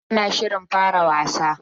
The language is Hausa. Hafsa tana shirin fara wasa.